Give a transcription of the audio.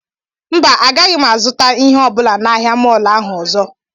mba agaghị m azụta ihe ọ bụla na ahịa mọọlụ ahụ ọzọ